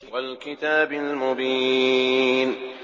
وَالْكِتَابِ الْمُبِينِ